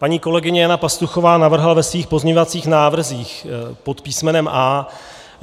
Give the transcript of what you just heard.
Paní kolegyně Jana Pastuchová navrhla ve svých pozměňovacích návrzích pod písmenem